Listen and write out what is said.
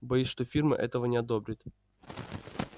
боюсь что фирма этого не одобрит